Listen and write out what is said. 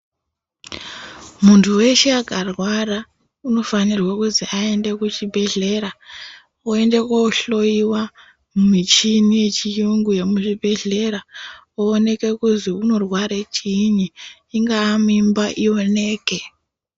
Muntu weshe akarwara unofanirwe kuzi aende kuchibhedhlera, oende kohloiwa mumichini yechiyungu yomuzvibhedhlera ,oonekwe kuzwi unorware chiini, ingaa. mimba ioneke.